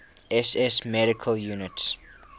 ss medical units